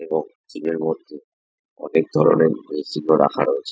এবং সিমের মধ্যে অনেক ধরণের মেশিন ও রাখা রয়েছে।